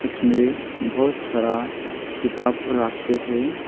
उसमें बहुत सारा किताब रखे हैं।